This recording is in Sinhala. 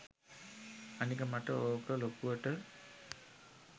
අනික මට ඕක ලොකුවට